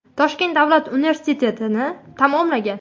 Toshkent davlat universitetini tamomlagan.